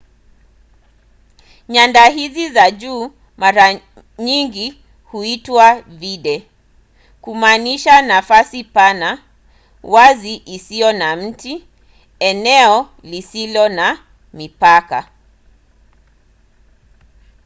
nyanda hizi za juu mara nyingi huitwa vidde kumaanisha nafasi pana wazi isiyo na miti eneo lisilo na mipaka